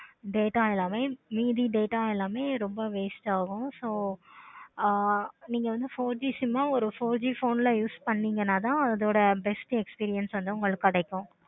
data எல்லாமே மீதி data எல்லாமே ரொம்ப waste ஆகும். ஆஹ் நீங்க வந்து four G sim ஆஹ் ஒரு four G sim ல use பன்னிங்கன்னா தான் அதோட best experience வந்து உங்களுக்கு கிடைக்கும்.